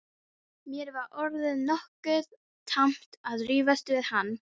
Mér var orðið nokkuð tamt að rífast við hann.